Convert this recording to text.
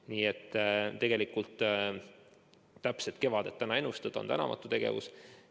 Nii et tegelikult praegu täpselt kevadet ennustada on tänamatu tegevus.